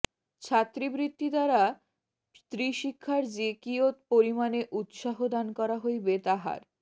ছাত্রীবৃত্তি দ্বারা স্ত্রীশিক্ষার যে কিয়ৎ পরিমাণে উৎসাহ দান করা হইবে তাহার